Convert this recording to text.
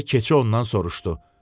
Deyə keçi ondan soruşdu.